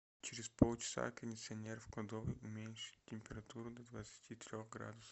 через полчаса кондиционер в кладовой уменьшить температуру до двадцати трех градусов